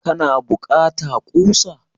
kana bukata kusa?